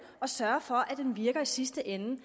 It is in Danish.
og sørge for at den virker i sidste ende